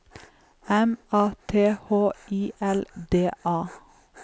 M A T H I L D A